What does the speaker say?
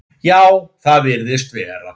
Já, það virðist vera.